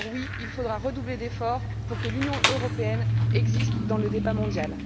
Alors oui, il faudra redoubler d'efforts pour que l'Union européenne existe dans le débat mondial.